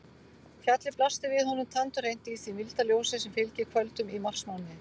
Fjallið blasti við honum tandurhreint í því milda ljósi sem fylgir kvöldum í marsmánuði.